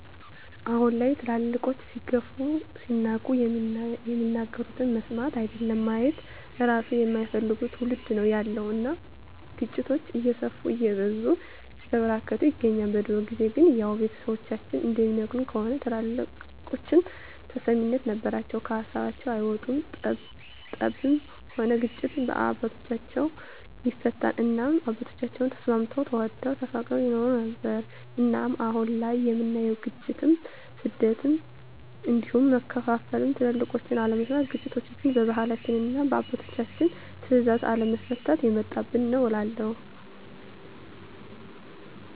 አሁን ላይ ትልልቆች ሲገፉ ሲናቁ የሚናገሩትን መስማት አይደለም ማየት እራሱ የማይፈልግ ትዉልድ ነዉ ያለዉ እናም ግጭቶች እየሰፉ እየበዙ እየተበራከቱ ይገኛል። በድሮ ጊዜ ግን ያዉ ቤተሰቦቻችን እንደሚነግሩን ከሆነ ትልልቆች ተሰሚነት ነበራቸዉ ከሀሳባቸዉ አይወጡም ጠብም ሆነ ግጭት በአባቶች(በትልልቅ ሰወች) ይፈታል እናም አባቶቻችን ተስማምተዉ ተዋደዉ ተፋቅረዉ ይኖሩ ነበር። እናም አሁን ላይ የምናየዉ ግጭ፣ ሞት፣ ስደት እንዲሁም መከፋፋል ትልቆችን አለመስማት ግጭቶችችን በባህላችንና እና በአባቶች ትእዛዝ አለመፍታት የመጣብን ነዉ እላለሁ።